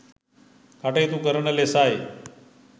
කටයුතු කරන ලෙසයි